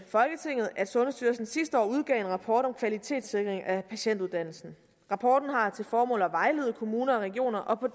folketinget at sundhedsstyrelsen sidste år udgav en rapport om kvalitetssikring af patientuddannelsen rapporten har til formål at vejlede kommuner og regioner og på